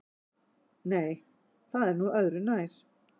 Nei, það er nú öðru nær.